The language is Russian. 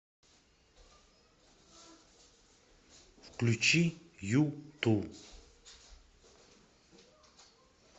включи юту